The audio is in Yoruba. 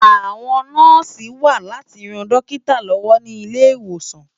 Awòn Nòsi wà láti ròn Dòkitá lòwò ni Ilé-Iwósán